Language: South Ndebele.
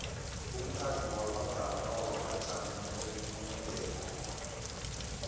umkhandlu wamagama wamajamobumbeko